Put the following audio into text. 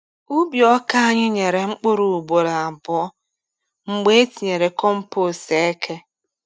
Ubi ọka anyị nyere mkpụrụ ugboro abụọ mgbe etinyere compost eke.